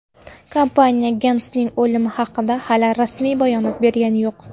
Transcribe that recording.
Kompaniya Gensning o‘limi haqida hali rasmiy bayonot bergani yo‘q.